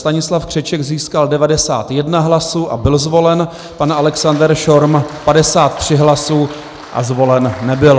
Stanislav Křeček získal 91 hlasů a byl zvolen, pan Alexander Schorm 53 hlasů a zvolen nebyl.